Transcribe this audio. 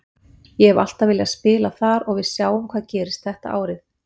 Ég hef alltaf viljað spila þar og við sjáum hvað gerist þetta árið.